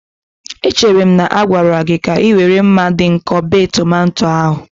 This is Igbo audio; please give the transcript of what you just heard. Echere m na a gwara gị ka ị were mma dị nkọ bee tomato ahu.